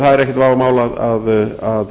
það er ekkert vafamál að